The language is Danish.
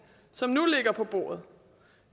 som nu ligger på bordet